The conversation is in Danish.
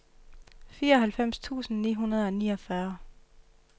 fireoghalvfems tusind ni hundrede og niogfyrre